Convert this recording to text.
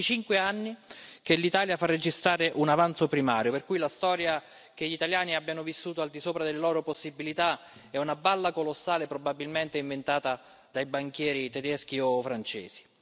Sono venticinque anni che l'Italia fa registrare un avanzo primario, per cui la storia che gli italiani abbiano vissuto al di sopra delle loro possibilità è una balla colossale, probabilmente inventata dai banchieri tedeschi o francesi.